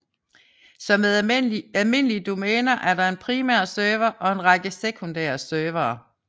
Som med almindelige domæner er der en primær server og en række sekundære servere